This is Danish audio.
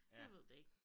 Jeg ved det ikke